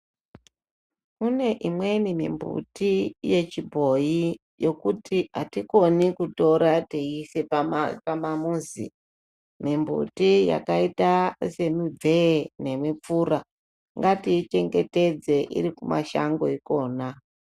Kune imweni mimbuti yechibhoyi yekuti hatikoni kutora teiise pamamuzi. Mimbuti yakaita semibvee nemipfura. Ngatiichengetedze iri kumashango ikona.